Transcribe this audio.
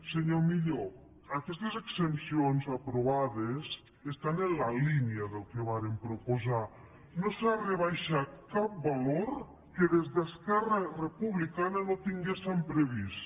senyor millo aquestes exempcions aprovades estan en la línia del que vàrem proposar no s’ha rebaixat cap valor que des d’esquerra republicana no tinguéssem previst